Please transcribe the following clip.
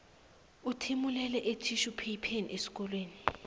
uthimulele ethitjhupheypheni emkhonweni